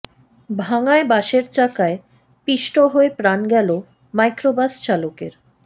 ভাঙ্গায় বাসের চাকায় পিষ্ট হয়ে প্রাণ গেল মাইক্রোবাস চালকের